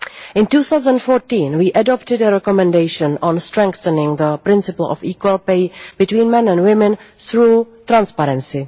In 2014 we adopted a Recommendation on strengthening the principle of equal pay between men and women through transparency.